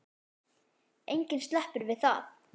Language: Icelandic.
Enginn sleppur við það.